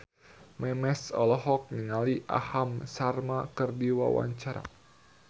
Memes olohok ningali Aham Sharma keur diwawancara